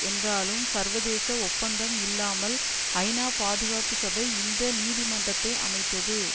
என்றாலும் சர்வதேச ஒப்பந்தம் இல்லாமல் ஐநா பாதுகாப்பு சபை இந்த நீதிமன்றத்தை அமைத்தது